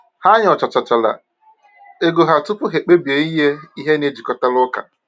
Ha nyochachara ego ha tupu ha kpebie inye ihe na-ejikọtara ụka.